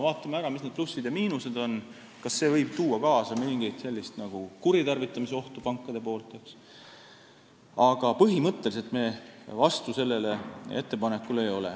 Ootame ära ja vaatame, mis on plussid ja miinused, kas see võib tuua kaasa mõningat kuritarvitamisohtu pankadelt, aga põhimõtteliselt me sellele ettepanekule vastu ei ole.